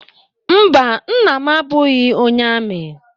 Mba, Nna m abụghị onye amị.